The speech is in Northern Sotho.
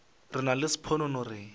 re nna le sponono re